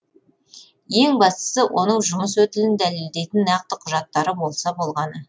ең бастысы оның жұмыс өтілін дәлелдейтін нақты құжаттары болса болғаны